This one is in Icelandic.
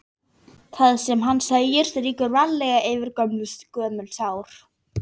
Það sem hann segir strýkur varlega yfir gömul sár.